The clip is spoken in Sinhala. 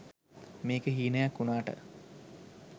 මේක හීනයක් උනාට